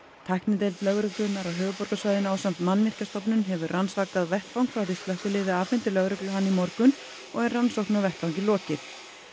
tæknideild lögreglunnar á höfuðborgarsvæðinu ásamt Mannvirkjastofnun hefur rannsakað vettvang frá því slökkviliðið afhenti lögreglu hann í morgun og er rannsókn á vettvangi lokið